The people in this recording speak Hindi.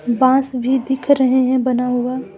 बांस भी दिख रहे हैं बना हुआ।